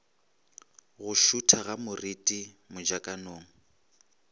go šutha ga moriti mojakong